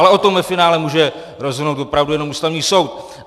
Ale o tom ve finále může rozhodnout opravdu jenom Ústavní soud.